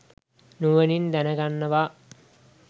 නුවණින් දැනගන්නවා.